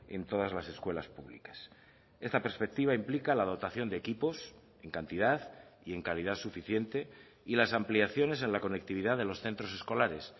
en todas las escuelas públicas esta perspectiva implica la dotación de equipos en cantidad y en calidad suficiente y las ampliaciones en la conectividad de los centros escolares